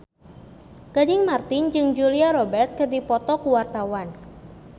Gading Marten jeung Julia Robert keur dipoto ku wartawan